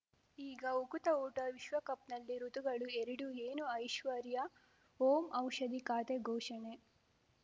ಈಗ ಉಕುತ ಊಟ ವಿಶ್ವಕಪ್‌ನಲ್ಲಿ ಋತುಗಳು ಎರಡು ಏನು ಐಶ್ವರ್ಯಾ ಓಂ ಔಷಧಿ ಖಾತೆ ಘೋಷಣೆ